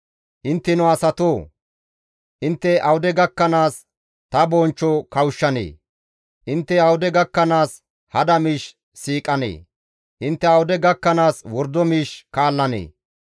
Intteno asatoo! Intte awude gakkanaas ta bonchcho kawushshanee? Intte awude gakkanaas hada miish siiqanee? Intte awude gakkanaas wordo miish kaallanee?